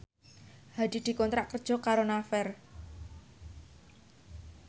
Hadi dikontrak kerja karo Naver